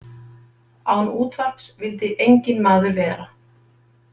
Án útvarps vildi enginn maður vera.